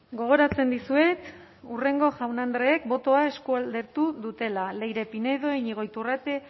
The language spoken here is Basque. gogoratzen dizuet hurrengo jaun andreek botoa eskualdatu dutela leire pinedo iñigo iturrate